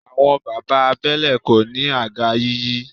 Àwọn bàbá abẹ́lé kò ní àga yíyí.